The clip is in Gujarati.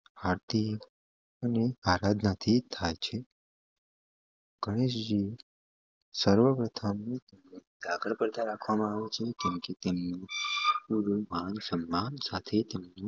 આરતી અને આરાધના થી થાય છે ગણેશજી સર્વ પ્રથમ રાખવામાં આવે છે કેમકે તેમની માન સન્માન સાથે